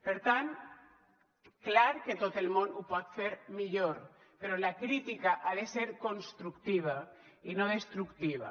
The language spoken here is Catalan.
per tant clar que tot el món ho pot fer millor però la crítica ha de ser constructiva i no destructiva